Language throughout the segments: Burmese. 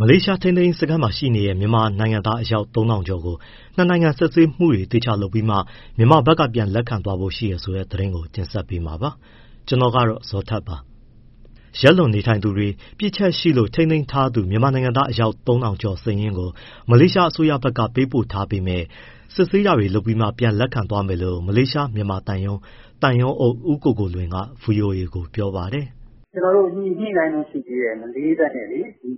မလေးရှား ထိန်းသိမ်းရေး စခန်းမှာရှိနေတဲ့ မြန်မာနိုင်ငံသား အယောက် ၃,၀၀၀ ကျော်ကို နှစ်နိုင်ငံ စစ်ဆေးမှုတွေ သေချာလုပ်ပြီးသွားမှ မြန်မာဘက်က ပြန်လက်ခံသွားဖို့ ရှိတယ်ဆိုတဲ့ သတင်းကို ဗွီအိုအေ မြန်မာပိုင်းသတင်းထောက် ကိုဇော်ထက်က တင်ဆက်ပေးမှာပါ။ ရက်လွန်နေထိုင်သူတွေနဲ့ ပြစ်ချက်ရှိလို့ ထိန်းသိမ်းခံထားသူ မြန်မာနိုင်ငံသား အယောက် ၃,၀၀၀ ကျော်စာရင်းကို မလေးရှားအစိုးရဘက်က ပေးပို့ထားပေမဲ့ စစ်ဆေးတာတွေ လုပ်ပြီးမှ ပြန်လက်ခံသွားမယ်လို့ မလေးရှားမြန်မာသံရုံးက သံရုံးအုပ် ဦးကိုကိုလွင်က ဗွီအိုအေကို ပြောပါတယ်။ “ကျနော်တို့ ညှိနှိုင်းတုန်း ရှိသေးတယ်။ မလေးဘက်နဲ့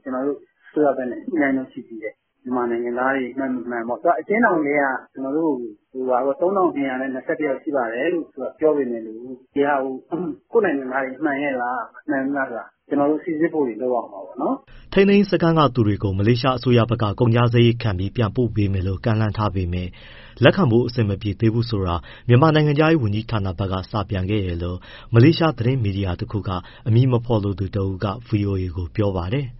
ကျနော်တို့အစိုးရဘက် ညှိနှိုင်းတုန်း ရှိသေးတယ်။ မြန်မာနိုင်ငံသားတွေ မှန်၊ မမှန်ပေါ့။ သူက အကျဉ်းထောင်တွေထဲက ကျနော်တို့ကို ၃,၂၂၁ ယောက်ရှိပါတယ်လို့ သူကပြောပေမဲ့လို့ ဒီဟာကို ကိုယ့်နိုင်ငံသားတွေ မှန်ရဲ့လား၊ မမှန်ဘူးလားဆိုတာ ကျနော်တို့ စိစစ်မှုတွေ လုပ်ရဦးမှာပေါ့နော်။” ထိန်းသိမ်းရေး စခန်းကသူတွေကို မလေးရှားအစိုးရဘက်က ကုန်ကျစရိတ်ခံပြီး ပြန်ပို့ပေးမယ်လို့ ကမ်းလှမ်းထားပေမဲ့ လက်ခံဖို့ အဆင်မပြေသေးဘူးဆိုတာ မြန်မာနိုင်ငံခြားရေးဝန်ကြီးဌာနဘက်က စာပြန်ခဲ့တယ်လို့ မလေးရှားသတင်း မီဒီယာတခုက အမည်မဖော်လိုသူတဦးက ဗွီအိုအေကို ပြောပါတယ်။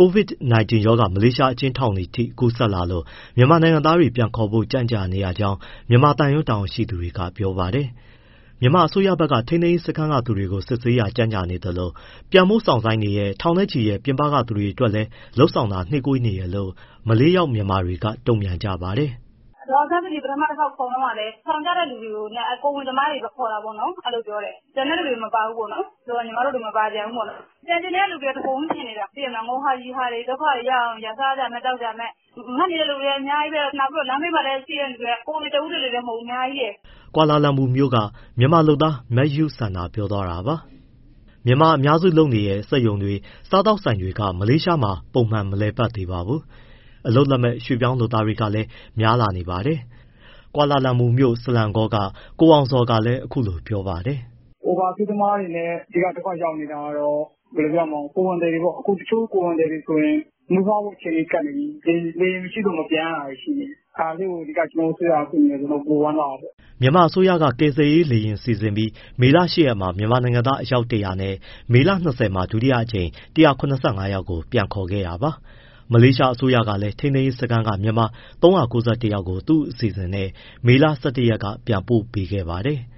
COVID-19 ရောဂါ မလေးရှား အကျဉ်းထောင်တွေထိ ကူးစက်နေလို့ မြန်မာနိုင်ငံသားတွေ ပြန်ခေါ်ဖို့ ကြန့်ကြာနေရကြောင်း မြန်မာသံရုံး တာဝန်ရှိသူတွေက ပြောပါတယ်။ မြန်မာအစိုးရက ထိန်းသိမ်းရေးစခန်းသူတွေကို စစ်ဆေးတာ ကြန့်ကြာနေသလို ပြန်ဖို့စောင့်ဆိုင်းနေတဲ့ ထောင်နဲ့ချီတဲ့ ပြင်ပက သူတွေအတွက်လည်း လုပ်ဆောင်တာ နှေးကွေးနေကြောင်း မလေးရောက်မြန်မာတွေက တုံ့ပြန်ကြပါတယ်။ “ဒေါ်အောင်ဆန်းစုကြည် ပထမတခေါက်ခေါ်တုန်းကလည်း ထောင်ကျတဲ့သူတွေနဲ့ ကိုယ်ဝန်သမားတွေကို ခေါ်တာပေါ့ အဲလိုပြောတယ်။ ကျန်တဲ့သူတွေ မပါဘူးပေါ့နော်။ ဆိုတော့ ညီမတို့တွေ မပါပြန်ဘူးပေါ့။ ပြန်ချင်တဲ့သူတွေက တပုံကြီးဖြစ်နေတာ၊ သိတယ်မလား ငိုကာ၊ ရယ်ကာ ဒုက္ခတွေရောက်နေကြ။ စားစရာမဲ့၊ သောက်စရာမဲ့။ ငတ်နေတဲ့သူတွေလည်း အများကြီးပဲ၊ နောက်လမ်းဘေးမှာလည်း ကိုယ်တွေ တဦးတည်းမဟုတ်ဘူး အများကြီး။” ကွာလာလမ်ပူမြို့က မြန်မာလုပ်သား မယုစန္ဒာပြောသွားတာပါ။ မြန်မာအများစုလုပ်နေတဲ့ စက်ရုံတွေ၊ စားသောက်ဆိုင်တွေက မလေးရှားမှာ ပုံမှန်မလည်ပတ်သေးပါဘူး။ အလုပ်လက်မဲ့ ရွှေ့ပြောင်းလုပ်သားတွေလည်း များလာနေပါတယ်။ ကွာလာလမ်ပူမြို့၊ ဆလာမ်ကောက ကိုအောင်ဇော်ကလည်း အခုလိုပြောပါတယ်။ “Overstay သမားတွေနဲ့ အဓိက ဒုက္ခရောက်နေတာကတော့ ကိုယ်ဝန်သည်တွေပေါ့၊ တချို့ကိုယ်ဝန်သည်တွေဆိုရင် မီးဖွားဖို့ အချိန်ကပ်နေပြီ။ လေယာဉ်မရှိလို့ မပြန်ရတာတွေရှိတယ်။ ဒါလေးကို ကျနော်တို့ အစိုးရက ကူညီမယ်ဆိုရင်တော့ ပိုဝမ်းသာတာပေါ့။” မြန်မာအစိုးရက ကယ်ဆယ်ရေးလေယာဉ်နဲ့ မေလ ၈ ရက်မှာ မြန်မာနိုင်ငံသား အယောက် ၁၀၀၊ မေလ ၂၀မှာ ဒုတိယအကြိမ် ၁၇၅ ယောက်ကို ပြန်ခေါ်ခဲ့ပါတယ်။ မလေးရှားအစိုးရကလည်း ထိန်းသိမ်းရေးစခန်းက မြန်မာ ၃၉၁ ယောက်ကို သူ့အစီအစဉ်နဲ့ မေလ ၁၁ ရက်ကပြန်ပို့ပေးခဲ့ပါတယ်။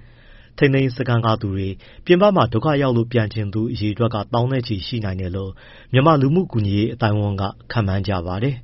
ထိန်းသိမ်းရေးစခန်းကသူတွေ၊ ပြင်ပမှာ ဒုက္ခရောက်လို့ပြန်ချင်သူအရေအတွက်က သောင်းနဲ့ချီ ရှိနိုင်တယ်လို့ မြန်မာလူမှုကူညီရေး အသိုင်းအဝန်းက ခန့်မှန်းထားပါတယ်။